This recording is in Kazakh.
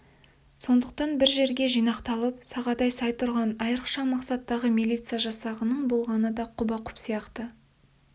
сондықтан бір жерге жинақталып сақадай сай тұрған айырықша мақсаттағы милиция жасағының болғаны да құба-құп сияқты